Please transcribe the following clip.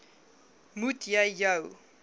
moet jy jou